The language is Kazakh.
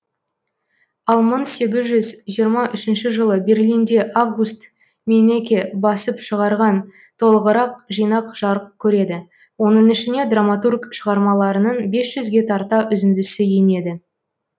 ал мың сегіз жүз жиырма үшінші жылы берлинде август мейнеке басып шығарған толығырақ жинақ жарық көреді оның ішіне драматург шығармаларының бес жүзге тарта үзіндісі енеді